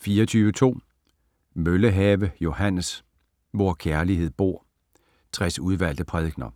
24.2 Møllehave, Johannes: Hvor kærlighed bor: 60 udvalgte prædikener